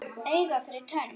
Auga fyrir tönn.